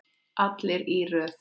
Allir í röð!